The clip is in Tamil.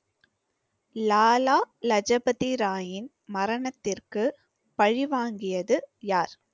லாலா லஜபதி ராயின் மரணத்திற்கு பழி வாங்கியது யார்